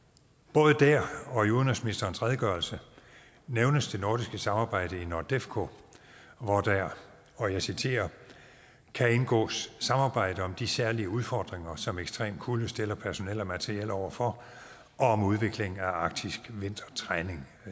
både der og i udenrigsministerens redegørelse nævnes det nordiske samarbejde i nordefco hvor der og jeg citerer kan indgås samarbejde om de særlige udfordringer som ekstrem kulde stiller personel og materiel over for og om udviklingen af arktisk vintertræning